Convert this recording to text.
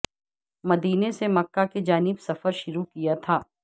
مدینہ سے مکہ کی جانب سفر شروع کیا تھا